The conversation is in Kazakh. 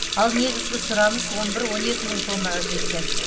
ал негізгі сұраныс он бір он екі мың тоннаға жеткен